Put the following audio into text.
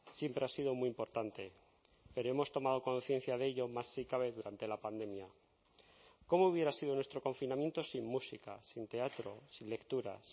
siempre ha sido muy importante pero hemos tomado conciencia de ello más si cabe durante la pandemia cómo hubiera sido nuestro confinamiento sin música sin teatro sin lecturas